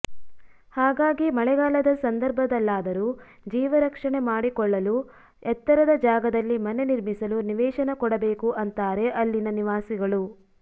ಹಾಗಾಗಿ ಮಳೆಗಾಲದ ಸಂದರ್ಭದಲ್ಲಾದರೂ ಜೀವ ರಕ್ಷಣೆ ಮಾಡಿಕೊಳ್ಳಲು ಎತ್ತರದ ಜಾಗದಲ್ಲಿ ಮನೆ ನಿರ್ಮಿಸಲು ನಿವೇಶನ ಕೊಡಬೇಕು ಅಂತಾರೆ ಅಲ್ಲಿನ ನಿವಾಸಿಗಳು